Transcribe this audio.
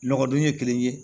Nɔgɔ dun ye kelen ye